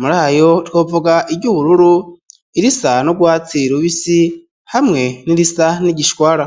muri ayo twovuga iry'ubururu irisa n'urwatsi rubisi hamwe n'irisa n'igishwara.